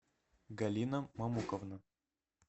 галина мамуковна